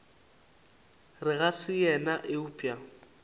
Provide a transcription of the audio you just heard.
re ga se yena eupša